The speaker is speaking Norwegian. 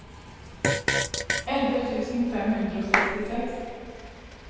elleve tusen fem hundre og sekstiseks